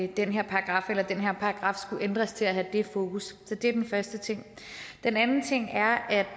den her paragraf eller at den her paragraf skulle ændres til at have det fokus så det er den første ting den anden ting er at